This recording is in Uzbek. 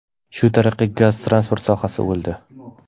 Shu tariqa gaz-transport sohasi o‘ldi.